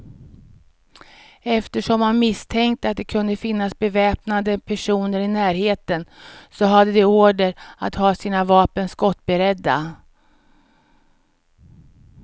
Eftersom man misstänkte att det kunde finnas beväpnade personer i närheten, så hade de order att ha sina vapen skottberedda.